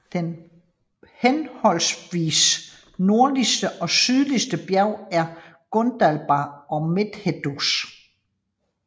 Det henholdsvis nordligste og sydligste bjerg er Gundabad og Methedras